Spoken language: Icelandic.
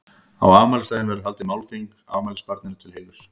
Á afmælisdaginn verður haldið málþing afmælisbarninu til heiðurs.